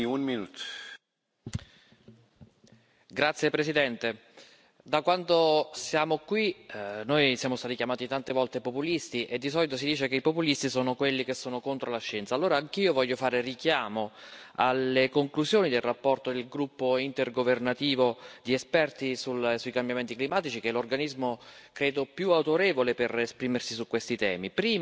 Signor Presidente, onorevoli colleghi, da quando siamo qui, siamo stati chiamati tante volte populisti e di solito si dice che i populisti sono quelli che sono contro la scienza. Allora anch'io voglio fare riferimento alle conclusioni della relazione del Gruppo intergovernativo di esperti sui cambiamenti climatici, che è l'organismo credo più autorevole per esprimersi su questi temi.